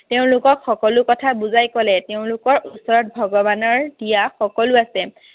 তেওঁলোকক সকলো কথা বুজাই কলে। তেওঁলোকৰ ওচৰত ভগৱানৰ দিয়া সকলো আছে।